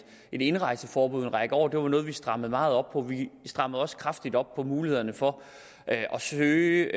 indrejseforbud i en række år og det var noget vi strammede meget op på vi strammede også kraftigt op på mulighederne for at søge